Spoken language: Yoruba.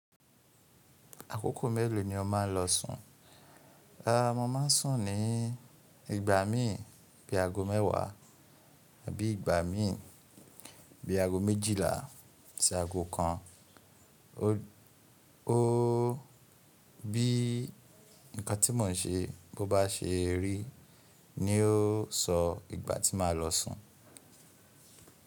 Àkókò mélòó ni o máa ń lọ sùn? Rárá, mo máa ń sùn ní ìgbà míi bí i aago mẹ́wàá tàbí ìgbà míi bí i aago méjìlá sí aago kan. O bí nǹkan tí mo n ṣe bó ba se rí ni ó sọ ìgbà tí màá lọ sùn.